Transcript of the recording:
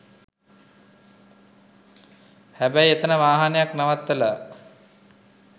හැබැයි එතැන වාහනයක් නවත්තලා